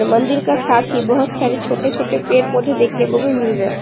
मंदिर का साथ हि बहुत सारे छोटे छोटे पेड़ पौधे देखने को भी मिल रहे है।